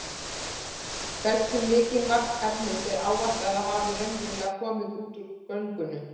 Hversu mikið magn efnis er áætlað að hafi raunverulega komið út úr göngunum?